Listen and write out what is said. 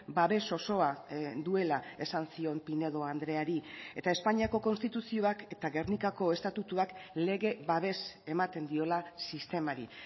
babes osoa duela esan zion pinedo andreari eta espainiako konstituzioak eta gernikako estatutuak lege babes ematen diola sistemari